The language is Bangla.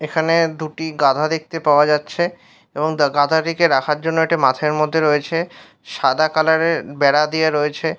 এখানে দুটি গাধা দেখতে পাওয়া যাচ্ছে এবং গাধাটিকে রাখার জন্য এটি মাঠের মধ্যে রয়েছে । সাদা কালার -এর বেড়া দেওয়া রয়েছে।